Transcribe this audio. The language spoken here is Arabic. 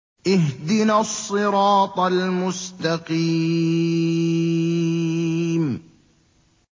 اهْدِنَا الصِّرَاطَ الْمُسْتَقِيمَ